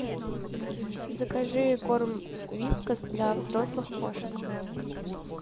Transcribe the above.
закажи корм вискас для взрослых кошек